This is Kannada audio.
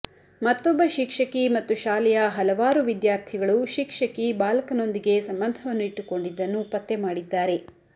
ಮತ್ತೊಬ್ಬ ಶಿಕ್ಷಕಿ ಮತ್ತು ಶಾಲೆಯ ಹಲವಾರು ವಿದ್ಯಾರ್ಥಿಗಳು ಶಿಕ್ಷಕಿ ಬಾಲಕನೊಂದಿಗೆ ಸಂಬಂಧವನ್ನು ಇಟ್ಟುಕೊಂಡಿದ್ದನ್ನು ಪತ್ತೆ ಮಾಡಿದ್ದಾರೆ